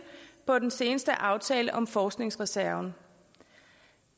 på den seneste aftale om forskningsreserven